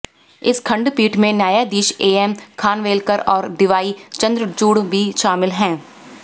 इस खंडपीठ में न्यायाधीश एएम खानवेलकर और डीवाई चंद्रचूड़ भी शामिल हैं